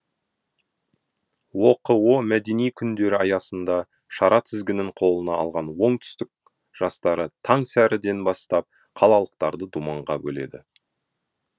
оқо мәдени күндері аясында шара тізгінін қолына алған оңтүстік жастары таң сәріден бастап қалалықтарды думанға бөледі